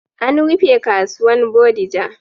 An rufe kasuwan bodija